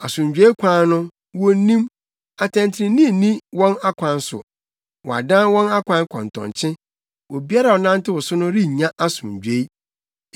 Asomdwoe kwan no, wonnim; atɛntrenee nni wɔn akwan so. Wɔadan wɔn akwan kɔntɔnkye obiara a ɔnantew so no rennya asomdwoe.